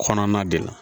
Kɔnɔna de la